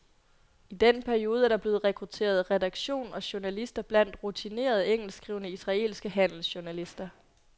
I den periode er der blevet rekrutteret redaktion og journalister blandt rutinerede engelskskrivende israelske handelsjournalister.